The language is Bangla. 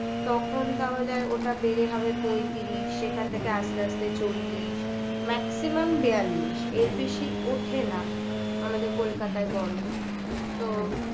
তখন তাহলে ওটা বের হবে পঁয়ত্রিশ সেখান থেকে আস্তে আস্তে চল্লিশ এই গরমকালটা যেমন আমাদের maximum বেয়াল্লিশ এর বেশি ওঠে না আমাদের কলকাতায় গরম তো